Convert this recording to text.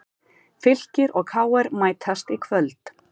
Fylkir og KR mætast í kvöld